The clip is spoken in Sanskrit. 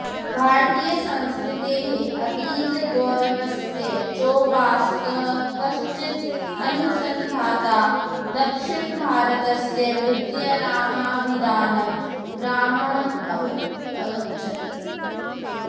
भारतीयसंस्कृतेः अतीतगौरवस्य चोपासकः कश्चिद् अनुसन्धाता दक्षिणभारतस्य विद्यारामाभिधानं ग्राममगच्छत्